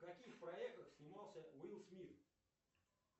в каких проектах снимался уилл смит